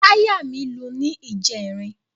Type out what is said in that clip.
Táyà mí lu ní ìjẹrin.